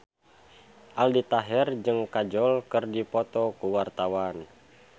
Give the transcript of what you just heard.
Aldi Taher jeung Kajol keur dipoto ku wartawan